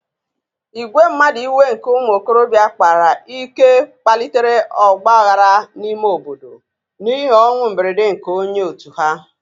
Ìgwè mmadụ iwe nke ụmụ okorobịa kpara ike kpalitere ọgba aghara n'ime obodo n'ihi ọnwụ mberede nke onye òtù ha